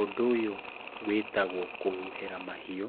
Ũndũ ũyũ wĩtagwo kũhuhĩra mahiũ.